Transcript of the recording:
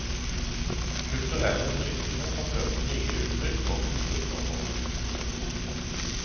Kulturelle brytninger har ført til nye uttrykk og kulturformer. punktum